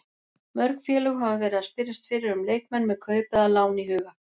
Mörg félög hafa verið að spyrjast fyrir um leikmenn með kaup eða lán í huga.